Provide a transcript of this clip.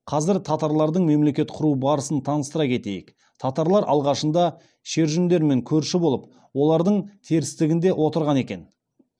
қазір татарлардың мемлекет құру барысын таныстыра кетейік татарлар алғашында шүржендермен көрші болып олардың терістігінде отырған екен